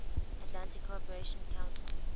atlantic cooperation council